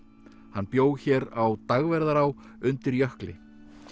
hann bjó hér á Dagverðará undir jökli